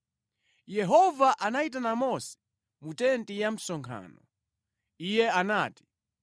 26 Yehova anayitana Mose mu tenti ya msonkhano. Iye anati,